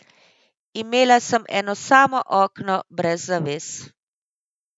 Imela sem eno samo okno brez zaves.